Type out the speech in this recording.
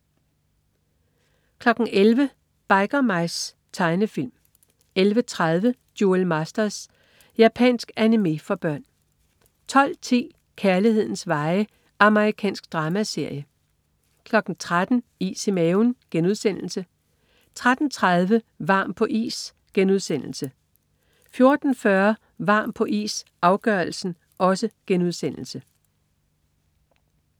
11.00 Biker Mice. Tegnefilm 11.30 Duel Masters. Japansk animé for børn 12.10 Kærlighedens veje. Amerikansk dramaserie 13.00 Is i maven* 13.30 Varm på is* 14.40 Varm på is - afgørelsen*